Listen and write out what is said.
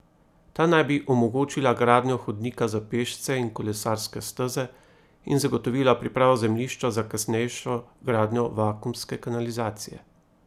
Ta naj bi omogočila gradnjo hodnika za pešce in kolesarske steze in zagotovila pripravo zemljišča za kasnejšo gradnjo vakuumske kanalizacije.